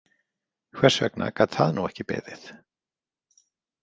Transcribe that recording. Hvers vegna gat það nú ekki beðið?